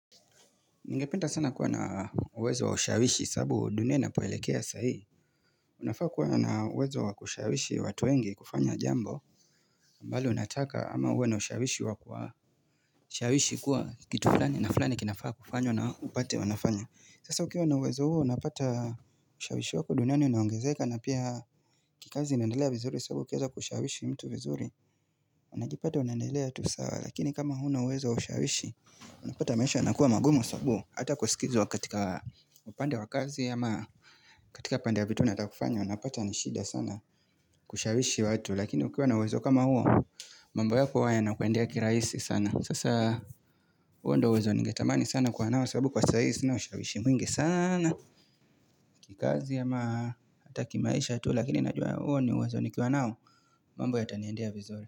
Ninge penda sana kuwa na uwezo wa usharishi sabu dunia napoelekea sahii Unafaa kuwa na uwezo wa kushawishi watu wenge kufanya jambo mbali unataka ama uwe na usharishi wa kwa Usharishi kuwa kitu fulani na fulani kinafaa kufanywa na upate wanafanya Sasa ukiwa na uwezo huu unapata ushawishi wako dunia ni unawangezeka na pia kikazi inandelea vizuri sababu ukeza kushawishi mtu vizuri Unajipate unandelea tusawa lakini kama huna uwezo wa ushawishi Unapata maisha yanakuwa magumo sababu hata kusikizwa katika upande wa kazi ya ama katika upande ya vitu natakufanya unapata nishida sana kushawishi watu lakini ukiwa na uwezo kama huo mambo ya kuwaya na kuendea kiraisi sana sasa hoo ndio uwezo nige tamani sana kwa nao sababu kwa saisi na ushawishi mwingi sana kikazi ya ama hata kimaisha tu lakini najua ya uwezo nikiwa nao mambo ya taniendea vizuri.